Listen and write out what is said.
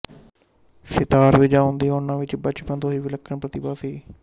ਸਿਤਾਰ ਵਜਾਉਣ ਦੀਆਂ ਉਹਨਾਂ ਵਿੱਚ ਬਚਪਨ ਤੋਂ ਹੀ ਵਿਲੱਖਣ ਪ੍ਰਤੀਭਾ ਸੀ